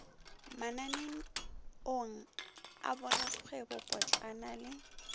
mananeong a borakgwebo potlana le